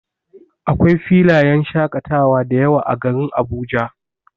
Akwai filayen shaƙatawa dayawa a garin Abuja.